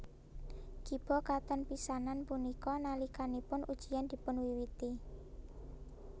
Kiba katon pisanan punika nalikanipun ujian dipunwiwiti